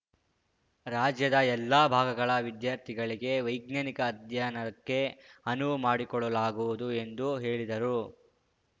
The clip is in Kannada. ರಾಜ್ಯದ ಎಲ್ಲ ಭಾಗಗಳ ವಿದ್ಯಾರ್ಥಿಗಳಿಗೆ ವೈಜ್ಞಾನಿಕ ಅಧ್ಯಯನಕ್ಕೆ ಅನುವು ಮಾಡಿಕೊಡಲಾಗುವುದು ಎಂದು ಹೇಳಿದರು